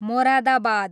Moradabad